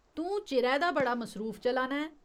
तूं चिरै दा बड़ा मसरूफ चला ना ऐं।